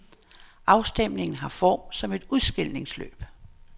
Afstemningen har form som et udskilningsløb.